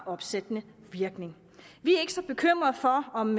opsættende virkning vi er ikke så bekymrede for om